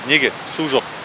неге су жоқ